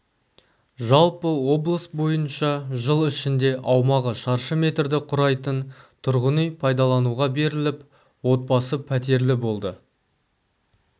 жалпы облыс бойынша жыл ішінде аумағы шаршы метрді құрайтын тұрғын үй пайдалануға беріліп отбасы пәтерлі болды